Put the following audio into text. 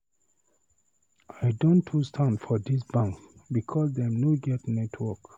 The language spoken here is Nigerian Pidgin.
I don too stand for dis bank because dem no get network.